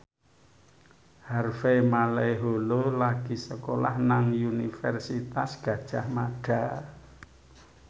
Harvey Malaiholo lagi sekolah nang Universitas Gadjah Mada